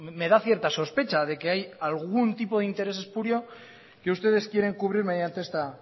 me da cierta sospecha de que hay algún tipo de interés espurio que ustedes quieren cubrir mediante esta